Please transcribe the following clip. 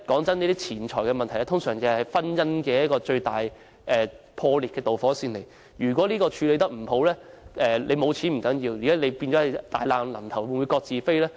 坦白說，錢財問題通常是婚姻破裂的導火線，如果這問題處理得不好，沒有錢並不重要，但夫妻會否大難臨頭各自飛呢？